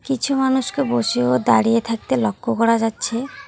কিছু মানুষকে বসে ও দাঁড়িয়ে থাকতে লক্ষ্য করা যাচ্ছে।